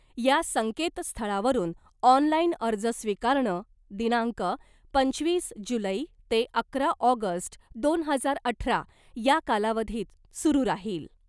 या संकेतस्थळावरून ऑनलाईन अर्ज स्वीकारणं दिनांक पंचवीस जुलै ते अकरा ऑगस्ट दोन हजार अठरा या कालावधीत सुरू राहिल.